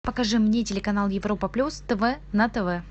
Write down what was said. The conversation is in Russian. покажи мне телеканал европа плюс тв на тв